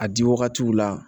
A di wagatiw la